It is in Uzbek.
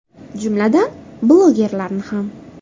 Jumladan, blogerlarni ham.